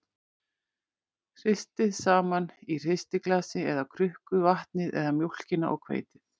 Hristið saman í hristiglasi eða krukku vatnið eða mjólkina og hveitið.